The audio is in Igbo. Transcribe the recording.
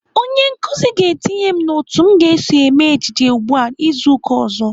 Onye nkụzi ga-etinye m n'otu m ga-eso eme ejije ugbu a izu uka ọzọ.